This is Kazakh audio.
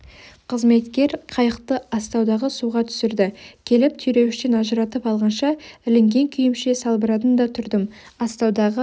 қызметкер қайықты астаудағы суға түсірді келіп түйреуіштен ажыратып алғанша ілінген күйімше салбырадым да тұрдым астаудағы